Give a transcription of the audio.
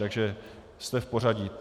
Takže jste v pořadí.